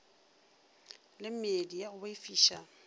le meedi ya go boifiša